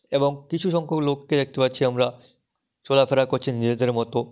এবং কিছু সংখ্যক লোককে দেখতে পাচ্ছি আমরা লাফেরা করছেন নিজেদের মতো।